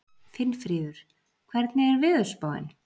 Finnfríður, hvernig er veðurspáin?